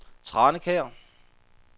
Tranekær